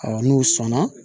n'u sɔnna